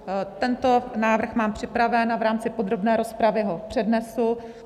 Tento návrh mám připravený a v rámci podrobné rozpravy ho přednesu.